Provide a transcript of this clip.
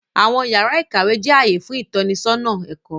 Awọn yàrà ìkàwé jẹ ààyè fún itọnisọna ẹkọ.